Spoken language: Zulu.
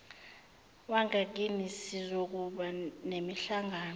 wangakini sizokuba nemihlangano